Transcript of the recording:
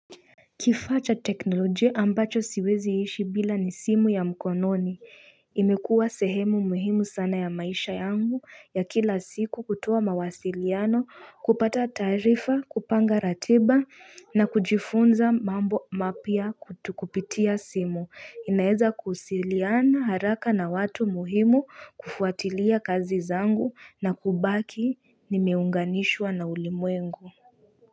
Kifaa cha teknolojia ambacho siwezi ishi bila ni simu ya mkononi imekuwa sehemu muhimu sana ya maisha yangu ya kila siku kutoa mawasiliano kupata taarifa kupanga ratiba na kujifunza mambo mapya tu kupitia simu inaeza kusiliana haraka na watu muhimu kufuatilia kazi zangu na kubaki nimeunganishwa na ulimwengu.